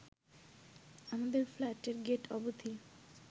আমাদের ফ্ল্যাটের গেট অবধি